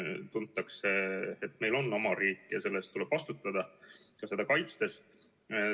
Tuntakse, et meil on oma riik ja selle eest tuleb vastutada ka seda kaitstes.